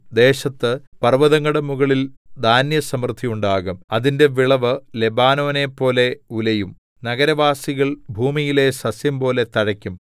ദേശത്ത് പർവ്വതങ്ങളുടെ മുകളിൽ ധാന്യസമൃദ്ധിയുണ്ടാകും അതിന്റെ വിളവ് ലെബാനോനെപ്പോലെ ഉലയും നഗരവാസികൾ ഭൂമിയിലെ സസ്യംപോലെ തഴയ്ക്കും